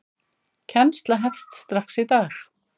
Kennsla hefst strax í dag.